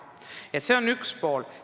See on teema üks pool.